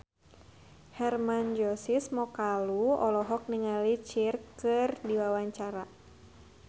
Hermann Josis Mokalu olohok ningali Cher keur diwawancara